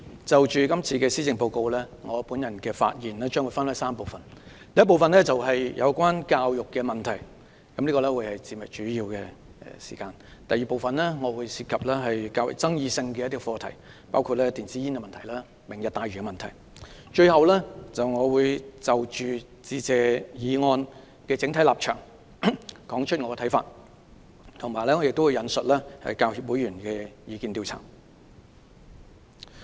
主席，就今年的施政報告，我的發言將分為3部分：第一部分是有關教育問題，這部分發言會佔用主要時間；第二部分涉及較具爭議性的課題，包括電子煙及"明日大嶼"問題；最後，我會就"致謝議案"的整體立場提出我的看法，並會引述香港教育專業人員協會會員的意見調查。